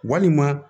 Walima